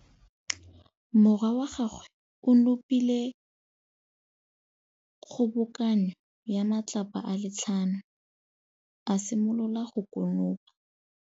Morwa wa gagwe o nopile kgobokanô ya matlapa a le tlhano, a simolola go konopa.